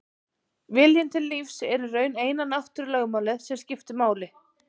Viljinn til lífs er í raun eina náttúrulögmálið sem skiptir máli.